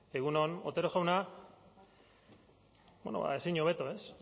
egun on otero jauna ezin hobeto ez